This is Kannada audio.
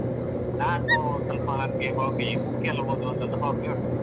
ನಾನು ಸ್ವಲ್ಪ ನನ್ಗೆ hobby book ಎಲ್ಲಾ ಓದುವಂತದ್ದು hobby ಉಂಟು.